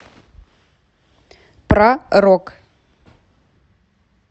про рок